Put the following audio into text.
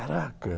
Caraca!